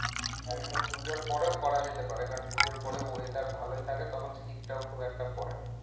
হম পুজোর পরেও করা যেতে পারে কারণ পুজোর পরেও weather ভালোই থাকে তখন শীতটাও খুব একটা পরে না